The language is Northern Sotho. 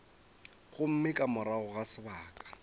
gomme ka morago ga sebaka